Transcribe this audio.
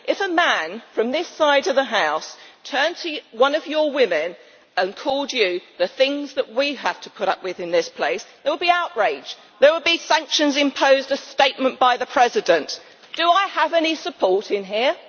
If a man from this side of the House turned to one of your women and called her the things that we have to put up with in this place, there would be outrage, there would be sanctions imposed, a statement by the President. Do I have any support in here?